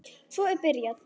Svo er byrjað.